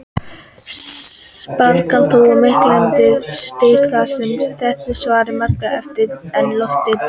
Spaðarnir eru þó miklu styttri þar sem þéttleiki sjávar er margfalt meiri en lofts.